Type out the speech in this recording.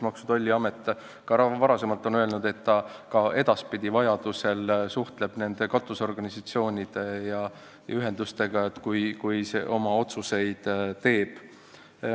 Maksu- ja Tolliamet on ka varem öelnud, et ta edaspidigi vajaduse korral suhtleb nende katusorganisatsioonide ja -ühendustega, kui ta oma otsuseid teeb.